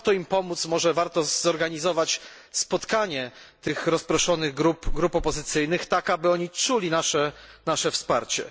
Może warto im pomóc, może warto zorganizować spotkanie tych rozproszonych grup opozycyjnych, tak aby oni czuli nasze wsparcie.